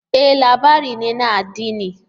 E! labari ne na addini.